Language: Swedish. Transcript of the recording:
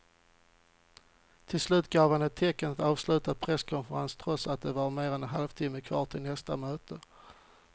Till slut gav han tecken att avsluta presskonferensen trots att det var mer än en halvtimme kvar till nästa möte.